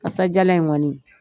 Kasadiyalan in kɔni